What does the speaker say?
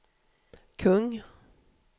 kung